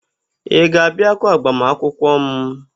Ị ga-abịakwa agbamakwụkwọ m?